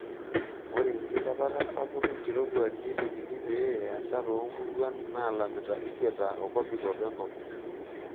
Ore enkilepata sapuk enkirowuaj neitekini pee easa toomuruan naalamita ikweta e kopikop enkop.